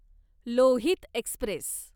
Lohit Express